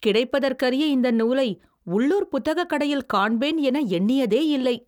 கிடைப்பதற்கரிய இந்த நூலை, உள்ளூர் புத்தகக் கடையில் காண்பேன் என எண்ணியதேயில்லை.